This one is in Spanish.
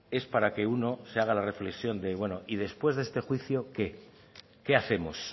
es para que uno se haga la reflexión de bueno y después de este juicio qué qué hacemos